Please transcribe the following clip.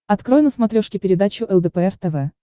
открой на смотрешке передачу лдпр тв